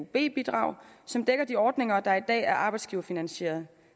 bidrag som dækker de ordninger der i dag er arbejdsgiverfinansieret